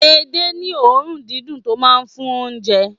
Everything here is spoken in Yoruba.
Ede ní òórùn dídùn tó máa ń fún oúnjẹ.